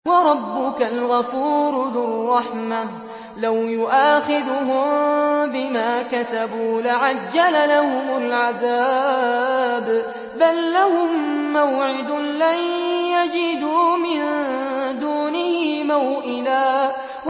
وَرَبُّكَ الْغَفُورُ ذُو الرَّحْمَةِ ۖ لَوْ يُؤَاخِذُهُم بِمَا كَسَبُوا لَعَجَّلَ لَهُمُ الْعَذَابَ ۚ بَل لَّهُم مَّوْعِدٌ لَّن يَجِدُوا مِن دُونِهِ مَوْئِلًا